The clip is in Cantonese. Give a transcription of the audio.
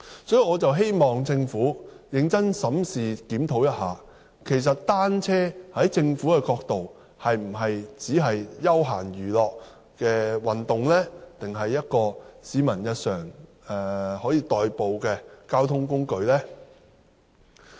所以，我希望政府認真檢討，單車是否只屬休閒娛樂運動，還是一種可以作為市民日常代步的交通工具呢？